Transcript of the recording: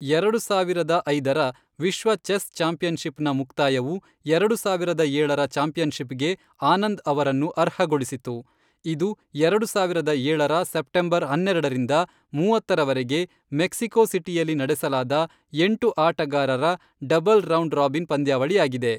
ಎರಡು ಸಾವಿರದ ಐದರ ವಿಶ್ವ ಚೆಸ್ ಚಾಂಪಿಯನ್ಶಿಪ್ನ ಮುಕ್ತಾಯವು, ಎರಡು ಸಾವಿರದ ಏಳರ ಚಾಂಪಿಯನ್ಶಿಪ್ಗೆ ಆನಂದ್ ಅವರನ್ನು ಅರ್ಹಗೊಳಿಸಿತು, ಇದು ಎರಡು ಸಾವಿರದ ಏಳರ ಸೆಪ್ಟೆಂಬರ್ ಹನ್ನೆರಡರಿಂದ ಮೂವತ್ತರವರೆಗೆ ಮೆಕ್ಸಿಕೋ ಸಿಟಿಯಲ್ಲಿ ನಡೆಸಲಾದ ಎಂಟು ಆಟಗಾರರ ಡಬಲ್ ರೌಂಡ್ ರಾಬಿನ್ ಪಂದ್ಯಾವಳಿಯಾಗಿದೆ.